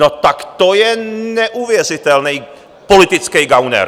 No tak to je neuvěřitelný politický gauner!